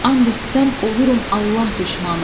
And içsəm, olurum Allah düşmanı.